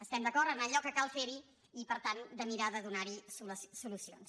estem d’acord en allò que cal fer hi i per tant a mirar de donar hi solucions